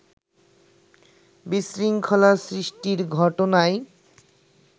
বিশৃঙ্খলা সৃষ্টির ঘটনায়